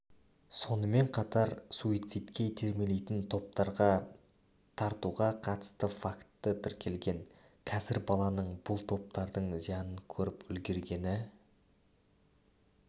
сонымен қатар суицидке итермелейтін топтарға тартуға қатысты факті тіркелген қазір баланың бұл топтардың зиянын көріп үлгергені